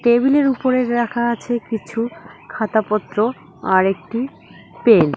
টেবিলের উপরে রাখা আছে কিছু খাতাপত্র আরেকটি পেন ।